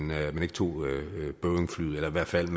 man ikke tog boeingflyet eller i hvert fald